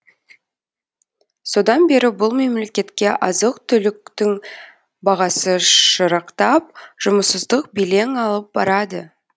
содан бері бұл мемлекетке азық түліктің бағасы шырақтап жұмыссыздық белең алып барады